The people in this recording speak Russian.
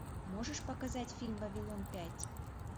можешь показать фильм вавилон пять